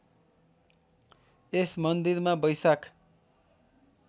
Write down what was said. यस मन्दिरमा वैशाख